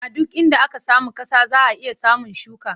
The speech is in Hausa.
A duk inda aka samu ƙasa za a iya samun shuka.